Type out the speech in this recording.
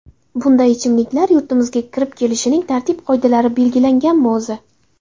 Bunday ichimliklar yurtimizga kirib kelishining tartib-qoidalari belgilanganmi o‘zi?